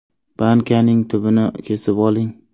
Bankaning tubini kesib oling.